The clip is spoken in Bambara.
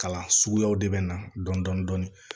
Kalan suguyaw de bɛ na dɔni